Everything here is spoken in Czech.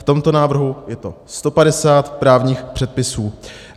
V tomto návrhu je to 150 právních předpisů.